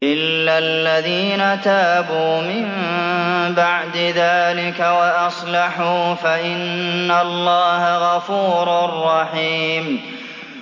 إِلَّا الَّذِينَ تَابُوا مِن بَعْدِ ذَٰلِكَ وَأَصْلَحُوا فَإِنَّ اللَّهَ غَفُورٌ رَّحِيمٌ